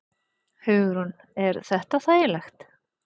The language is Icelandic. Hugrún: Er þetta þægilegt?